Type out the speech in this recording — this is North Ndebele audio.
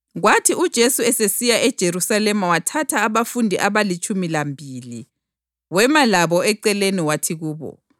Kwathi uJesu esesiya eJerusalema wathatha abafundi abalitshumi lambili wema labo eceleni wathi kubo,